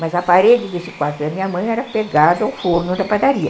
Mas a parede desse quarto da minha mãe era pegada ao forno da padaria.